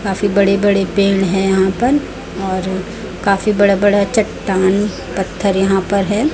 काफी बड़े बड़े पेड़ हैं यहां पर और काफी बडे बड़े चट्टान पत्थर यहां पर हैं।